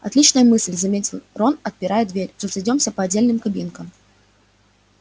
отличная мысль заметил рон отпирая дверь разойдёмся по отдельным кабинкам